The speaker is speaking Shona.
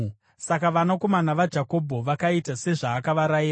Saka vanakomana vaJakobho vakaita sezvaakavarayira: